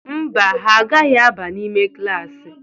Mba, ha agaghị aba n'ime klaasị.